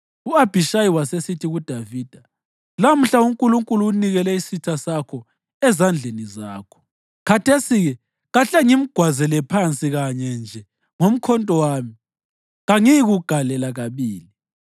U-Abhishayi wasesithi kuDavida, “Lamhla uNkulunkulu unikele isitha sakho ezandleni zakho. Khathesi-ke kahle ngimgwazele phansi kanye nje ngomkhonto wami; kangiyi kugalela kabili.”